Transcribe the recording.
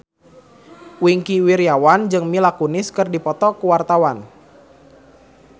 Wingky Wiryawan jeung Mila Kunis keur dipoto ku wartawan